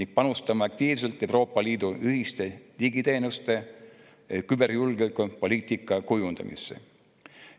Me panustame aktiivselt Euroopa Liidu ühiste digiteenuste ja küberjulgeolekupoliitika kujundamisse.